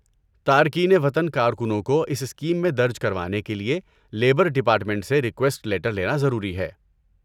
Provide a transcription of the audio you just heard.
تارکین وطن کارکنوں کو اس اسکیم میں درج کروانے کے لیے لیبر ڈیپارٹمنٹ سے ریکویسٹ لیٹر لینا ضروری ہے۔